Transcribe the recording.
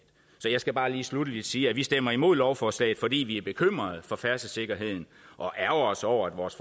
så jeg skal bare lige sluttelig sige at vi stemmer imod lovforslaget fordi vi er bekymrede for færdselssikkerheden og ærgrer os over at vores